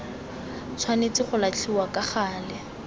tshwanetse go latlhiwa ka gale